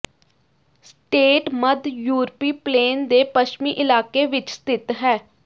state ਮੱਧ ਯੂਰਪੀ plain ਦੇ ਪੱਛਮੀ ਇਲਾਕੇ ਵਿਚ ਸਥਿਤ ਹੈ